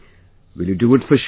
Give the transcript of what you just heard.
Will you do it for sure